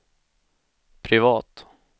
privat